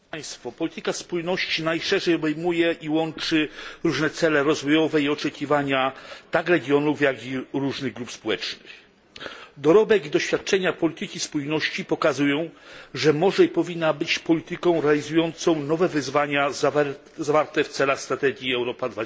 Panie przewodniczący! Polityka spójności najszerzej obejmuje i łączy różne cele rozwojowe i oczekiwania tak regionów, jak i różnych grup społecznych. Dorobek i doświadczenia polityki spójności pokazują, że może i powinna być ona polityką realizującą nowe wyzwania, zawarte w celach strategii Europa